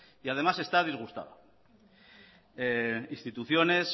y además está disgustada instituciones